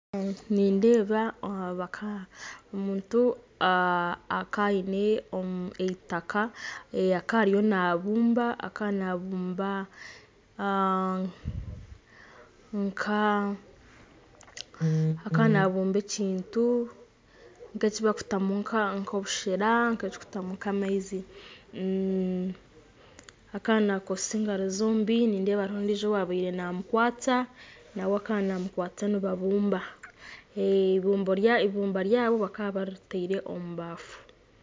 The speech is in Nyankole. Nindeeba omuntu akaine eitaka akariyo nabumba akanabumba ekintu nk'ekyibakutamu nk'obushera, nk'ekibakutamu nk'amaize, akaba nakozesa engaro zombi , nindeeba hariho ondiijo owaabire namukwasya, nawe akaba namukwasya nibabumba, ibumbo ryabo bakaba baritire omubafu.